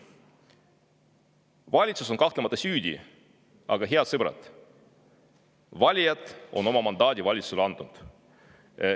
Valitsus on kahtlemata süüdi, aga, head sõbrad, valijad on oma mandaadi valitsusele andnud.